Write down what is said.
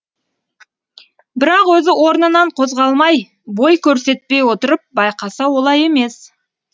бірақ өзі орнынан қозғалмай бой көрсетпей отырып байқаса олай емес